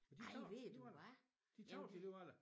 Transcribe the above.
Ej ved du hvad jamen det